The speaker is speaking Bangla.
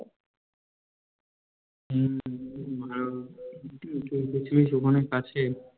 হম আর তাইতো গেছিলিস ওখানে কাছে